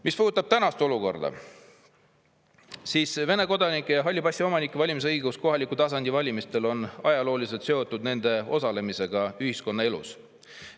Mis puudutab tänast olukorda, siis Vene kodanike ja halli passi omanike valimisõigus kohaliku tasandi valimistel on ajalooliselt seotud nende osalemisega ühiskonnaelus.